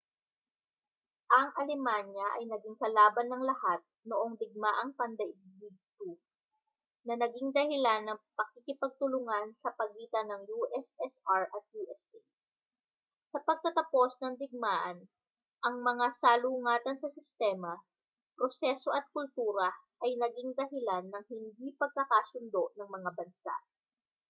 ang alemanya ay naging kalaban ng lahat noong digmaang pandaigdig 2 na naging dahilan ng pagkikipagtulungan sa pagitan ng ussr at usa sa pagtatapos ng digmaan ang mga salungatan sa sistema proseso at kultura ay naging dahilan ng hindi pagkakasundo ng mga bansa